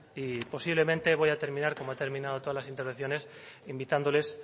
y posiblemente voy a terminar como he terminado todas las intenciones invitándoles